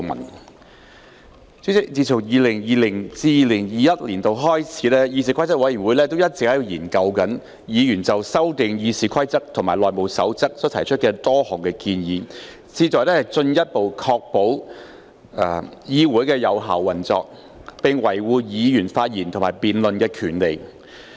代理主席，自 2020-2021 年度開始，議事規則委員會一直研究議員就修訂《議事規則》及《內務守則》提出的多項建議，旨在進一步確保議會有效運作，並維護議員發言及辯論的權利。